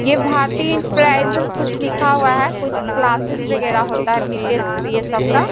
ये भारतिया एंटरप्राइज लिखा हुआ है कुछ क्लासेस वगैरह होता है बीटीएस ये सब का--